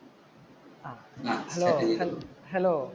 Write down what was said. hello